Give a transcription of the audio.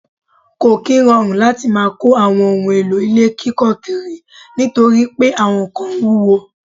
Ko kí ń rọrùn láti má kò àwọn ohùn èlò ilé kíkọ kiri nítorí pé àwọn kán wuwo